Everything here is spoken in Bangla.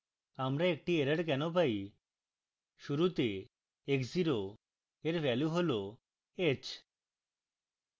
আমরা একটি error কেনো পারি